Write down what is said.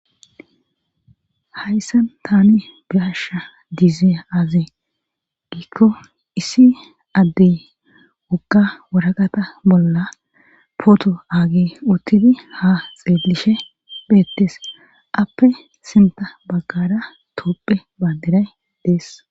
Hayssan tani biyasha dizia-aze giikko issi addey wogga woraqata bolla pooto aage uttidi ha xeellishe beettes appe sinta baggada toopphe baaderay dees.